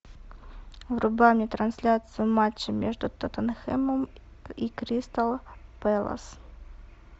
врубай мне трансляцию матча между тоттенхэмом и кристал пэлас